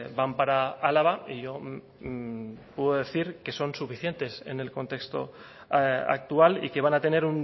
van para álava y yo puedo decir que son suficientes en el contexto actual y que van a tener